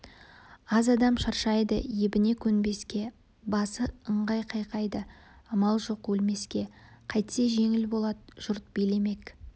аз адам шаршайды ебіне көнбеске басы ыңғай қайқайды амал жоқ өлмеске қайтсе жеңіл болады жұрт билемек